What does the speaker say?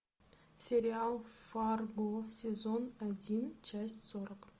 сериал фарго сезон один часть сорок